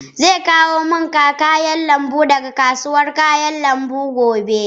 Zai kawo min kayan lambu daga kasuwar kayan lambu gobe.